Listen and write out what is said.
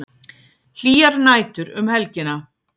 Hlýjar nætur um helgina